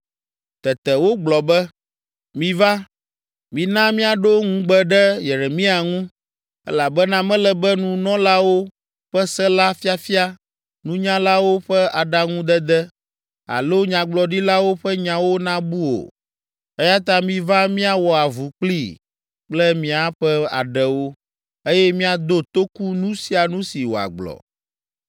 Tete wogblɔ be, “Miva, mina míaɖo nugbe ɖe Yeremia ŋu, elabena mele be nunɔlawo ƒe se la fiafia, nunyalawo ƒe aɖaŋudede alo nyagblɔɖilawo ƒe nyawo nabu o, eya ta miva míawɔ avu kplii kple míaƒe aɖewo, eye míado toku nu sia nu si wòagblɔ.”